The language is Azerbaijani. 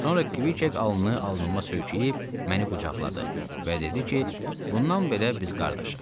Sonra Kvikek alnını alnıma söykəyib məni qucaqladı və dedi ki, bundan belə biz qardaşıq.